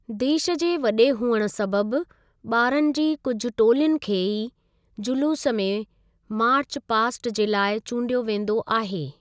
देश जे वडे॒ हुअणु सबबि, बा॒रनि जी कुझु टोलियुनि खे ई जुलूसु में मार्च पास्ट जे लाइ चूंडियो वेंदो आहे।